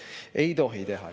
Ei tohi teha nii!